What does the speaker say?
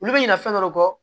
Olu bɛ ɲina fɛn dɔ kɔ